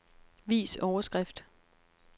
Vis overskrift.